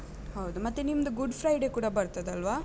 ಹೌದು. ಮತ್ತೆ ನಿಮ್ದು Good Friday ಕೂಡ ಬರ್ತದಲ್ವ?